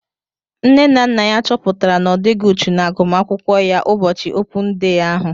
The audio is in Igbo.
Nne na nna ya chọpụtara na odighi uchu na agụmakwụkwọ ya ụbọchị opun dee ahu